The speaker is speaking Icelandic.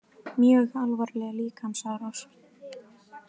Mjög alvarleg líkamsárás